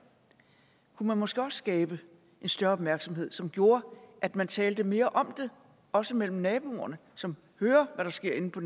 kunne man måske også skabe en større opmærksomhed som gjorde at man talte mere om det også mellem naboerne som hører hvad der sker inde på